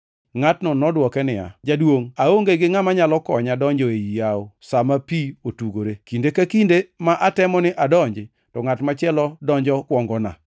Ngʼatno nodwoke niya, “Jaduongʼ, aonge gi ngʼama nyalo konya donjo ei yawo sa ma pi otugore. Kinde ka kinde ma atemo ni adonji to ngʼat machielo donjo kuongona.”